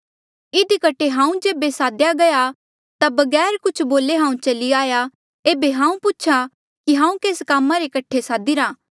इधी कठे हांऊँ जेबे साद्या गया ता बगैर कुछ बोले हांऊँ चली आया एेबे हांऊँ पूछ्हा कि हांऊँ केस कामा रे कठे सादिरा